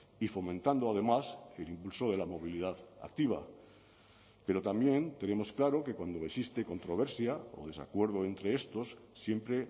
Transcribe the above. y fomentando además el impulso de la movilidad activa pero también tenemos claro que cuando existe controversia o desacuerdo entre estos siempre